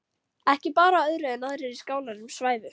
Ekki bar á öðru en aðrir í skálanum svæfu.